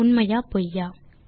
உண்மையா அல்லது பொய்யா